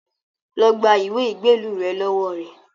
Lọ gba ìwé ìgbélú rẹ lọ́wọ́ rẹ̀